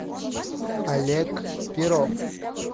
олег перов